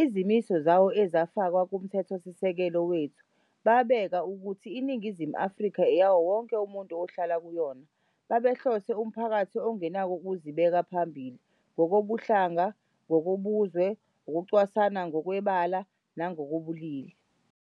izimiso zawo ezifakwe kuMthethosisekelo wethu, babeka ukuthi iNingizimu Afrika eyawo wonke umuntu ohlala kuyona, babehlose umphakathi ongenako ukuzibeka phambili ngokobuhlanga, ngokobuzwe, ukucwasana ngokwebala nangokobulili.